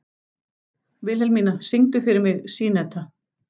Vilhelmína, syngdu fyrir mig „Syneta“.